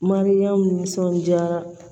Mariyamu nisɔndiyara